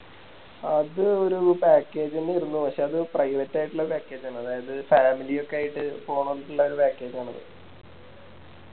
അത് ഒരു Package ന്നെ ആയിര്ന്നു പക്ഷെ അത് Private ആയിട്ടുള്ള Package ആണ് അതായത് Family ഒക്കെ ആയിട്ട് പോണോലിക്കിള്ള ഒരു Package ആണത്